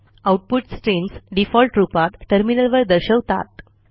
output streams default रूपात टर्मिनलवर दर्शवतात